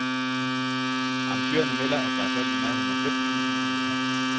Arrangørerne melder, at der er solgt i nærheden af fem tusind billetter.